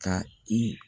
Ka i